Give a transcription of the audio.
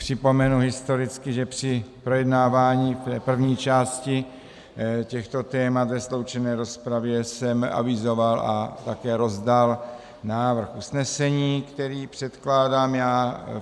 Připomenu historicky, že při projednávání první části těchto témat ve sloučené rozpravě jsem avizoval a také rozdal návrh usnesení, který předkládám já.